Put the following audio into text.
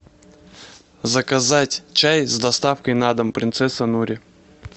заказать чай с доставкой на дом принцесса нури